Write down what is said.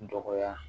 Dɔgɔya